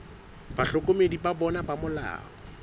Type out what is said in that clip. bahlokomedi ba bona ba molao